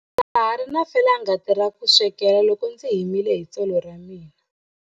Ndza ha ri na felangati kusukela loko ndzi himile hi tsolo ra mina.